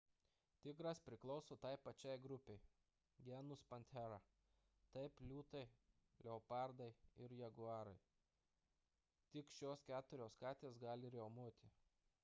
tigras priklauso tai pačiai grupei genus panthera kaip liūtai leopardai ir jaguarai. tik šios keturios katės gali riaumoti